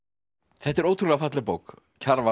þetta er ótrúlega falleg bók Kjarval